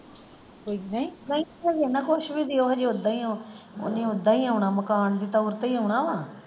ਘਰੇ ਨਾ ਕੁੱਛ ਵੀ ਦਿਓ ਹਜੇ ਓਦਾਂ ਹੀ ਉਹ ਓਨੇ ਓਦਾਂ ਹੀ ਆਉਣਾ ਮਕਾਨ ਦੀ ਤੋਰ ਤੇ ਹੀ ਆਉਣਾ ਵਾ।